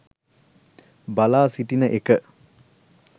බලා සිටින එක